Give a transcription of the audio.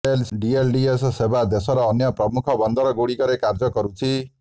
DLDS ସେବା ଦେଶର ଅନ୍ୟ ପ୍ରମୁଖ ବନ୍ଦର ଗୁଡ଼ିକରେ କାର୍ଯ୍ୟ କରୁଛି